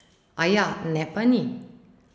Aja, ne pa ni.